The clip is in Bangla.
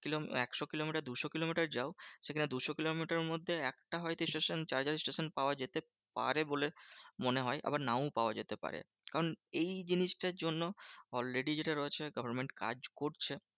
কিলোমিটার একশো কিলোমিটার দুশো কিলোমিটার যাও সেখানে দুশো কিলোমিটারের মধ্যে একটা হয়তো station charger station পাওয়া যেতে পারে বলে মনে হয়। আবার নাও পাওয়া যেতে পারে। কারণ এই জিনিসটার জন্য already যেটা রয়েছে government কাজ করছে।